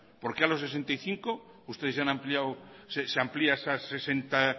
por qué a los sesenta y cinco ustedes ya han ampliado se amplía hasta